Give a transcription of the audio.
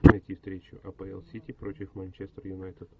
найти встречу апл сити против манчестер юнайтед